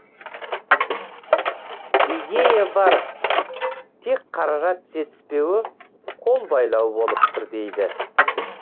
идея бар тек қаражат жетіспеуі қолбайлау болып тұр дейді